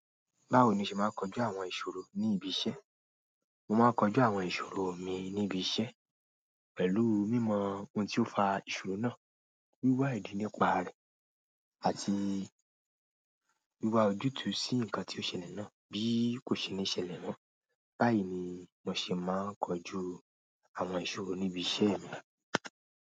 Báwo ni o ṣe máa ń kọjú àwọn ìṣòro ní ibi iṣẹ́? Mo máa ń kojú àwọn ìṣòro mi ní ibi iṣẹ́ pẹ̀lú mímọ ohun tí ó fa ìṣòro náà, wíwá ìdí nípa rẹ̀, àti wíwá ojútùú sí nǹkan tí ó ṣẹlẹ̀ náà bí kò ṣe ní ṣẹlẹ̀ mọ́. Báyìí ni mo ṣe máa ń kọjú àwọn ìṣòro níbi iṣẹ́ mi.